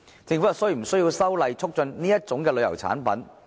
政府是否需要修例促進這類旅遊產品？